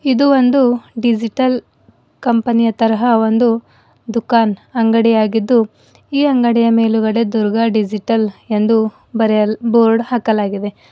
ಇದು ಒಂದು digital company ಯ ತರಹ ಒಂದು ದುಕಾನ್ ಅಂಗಡಿ ಆಗಿದ್ದು ಈ ಅಂಗಡಿಯ ಮೇಲುಗಡೆ ದುರ್ಗಾ ಡಿಜಿಟಲ್ ಎಂದು ಬರೆಯಲ್ ಬೋರ್ಡ್ ಹಾಕಲಾಗಿದೆ.